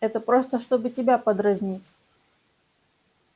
это просто чтобы тебя подразнить